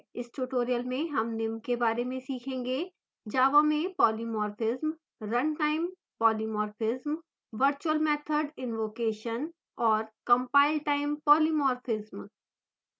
इस tutorial में हम निम्न के बारे में सीखेंगे: